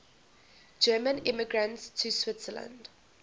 german immigrants to switzerland